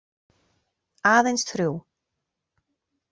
Aðeins þrjú.